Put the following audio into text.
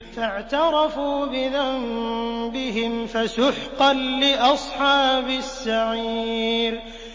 فَاعْتَرَفُوا بِذَنبِهِمْ فَسُحْقًا لِّأَصْحَابِ السَّعِيرِ